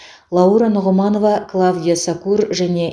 лаура нұғманова клавдия сакур және